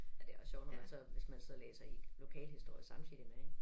Men det også sjovt når man så hvis man så læser i lokalhistorier samtidig med ik